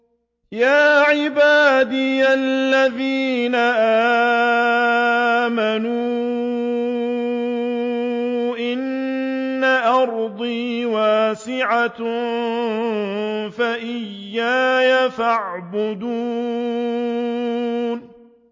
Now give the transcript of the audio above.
يَا عِبَادِيَ الَّذِينَ آمَنُوا إِنَّ أَرْضِي وَاسِعَةٌ فَإِيَّايَ فَاعْبُدُونِ